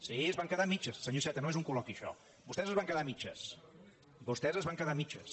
sí es van quedar a mitges senyor iceta no és un col·loqui això vostès es van quedar a mitges vostès es van quedar a mitges